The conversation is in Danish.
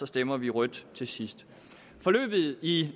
stemmer vi rødt til sidst forløbet i